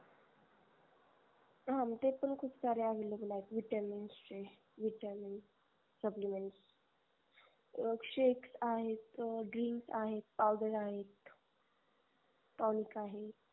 हा ते पण खूपसारे available आहेत vitamins चे vitamin supplements shakes आहे green आहेत powder आहेत tonic आहे